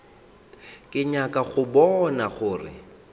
ke nyaka go bona gore